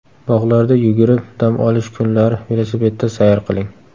Bog‘larda yugurib, dam olish kunlari velosipedda sayr qiling.